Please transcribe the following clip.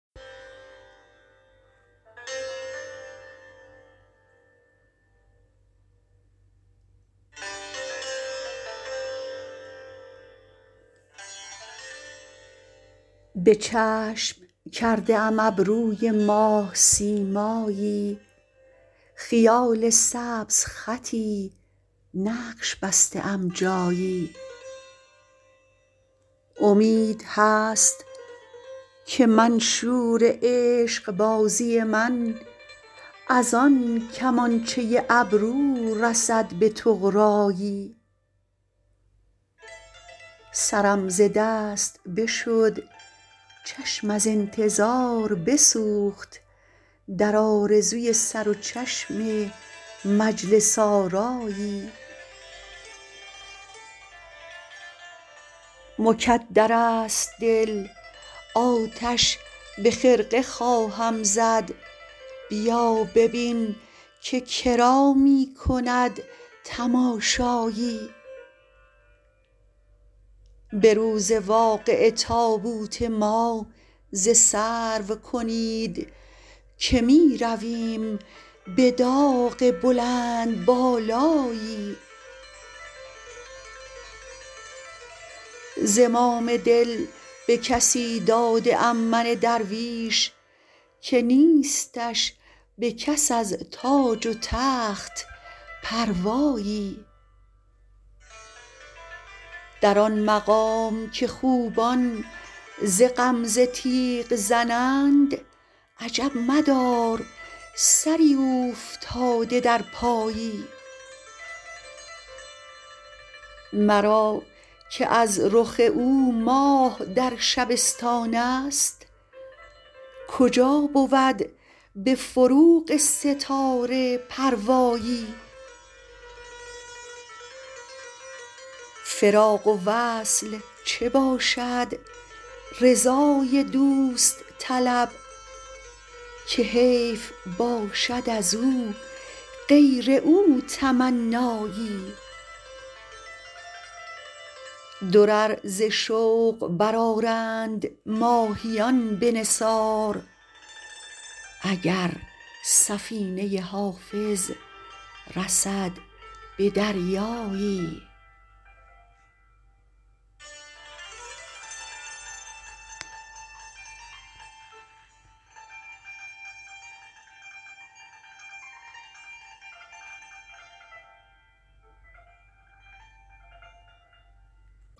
به چشم کرده ام ابروی ماه سیمایی خیال سبزخطی نقش بسته ام جایی امید هست که منشور عشق بازی من از آن کمانچه ابرو رسد به طغرایی سرم ز دست بشد چشم از انتظار بسوخت در آرزوی سر و چشم مجلس آرایی مکدر است دل آتش به خرقه خواهم زد بیا ببین که کرا می کند تماشایی به روز واقعه تابوت ما ز سرو کنید که می رویم به داغ بلندبالایی زمام دل به کسی داده ام من درویش که نیستش به کس از تاج و تخت پروایی در آن مقام که خوبان ز غمزه تیغ زنند عجب مدار سری اوفتاده در پایی مرا که از رخ او ماه در شبستان است کجا بود به فروغ ستاره پروایی فراق و وصل چه باشد رضای دوست طلب که حیف باشد از او غیر او تمنایی درر ز شوق برآرند ماهیان به نثار اگر سفینه حافظ رسد به دریایی